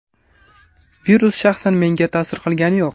Virus shaxsan menga ta’sir qilgani yo‘q.